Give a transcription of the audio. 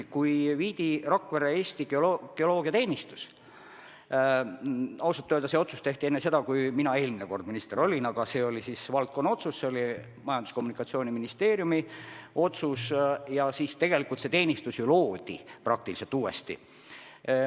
Kui Rakverre viidi Eesti Geoloogiateenistus – ausalt öeldes see otsus tehti enne seda, kui mina eelmine kord minister olin, ja see oli siis valdkonna otsus, Majandus- ja Kommunikatsiooniministeeriumi otsus –, siis tegelikult see teenistus loodi praktiliselt uuesti.